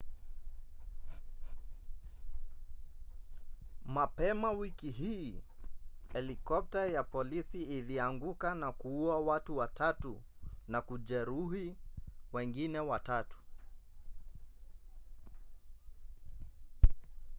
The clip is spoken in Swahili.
mapema wiki hii helikopta ya polisi ilianguka na kuua watu watatu na kujeruhi wengine watatu